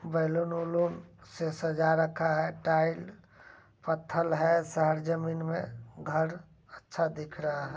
बैलून - उलूंण से सजा रखा है। टाइल पथहल है सारा जमीन में। घर अच्छा दिख रहा है ।